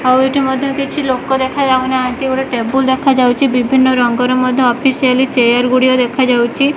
ଆଉ ଏଠି ମଧ୍ୟ କିଛି ଲୋକ ଦେଖା ଯାଉନାହାନ୍ତି ଗୋଟେ ଟେବୁଲ ଦେଖା ଯାଉଛି ବିଭିନ୍ନ ରଙ୍ଗର ମଧ୍ୟ ଅଫିସିଆଲି ଚେୟାର ଗୁଡ଼ିଗ ଦେଖା ଯାଉଛି।